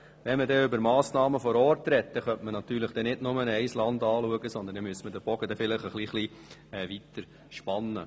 Wenn man über Massnahmen vor Ort spricht, sollte man nicht nur ein Land anschauen, sondern müsste den Bogen etwas weiter spannen.